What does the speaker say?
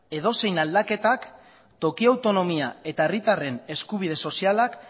edozein aldaketak toki autonomia eta herritarren eskubide sozialak